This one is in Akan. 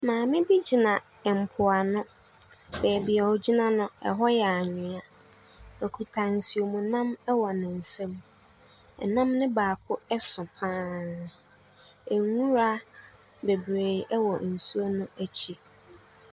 Maame bi gyina mpoano. Baabi a ɔgyina no, hɔ yɛ anwea. Ɔkuta nsuomnam wɔ ne nsam. Nnam no baako so pa ara. Nwura bebree wɔ nsuo no akyi.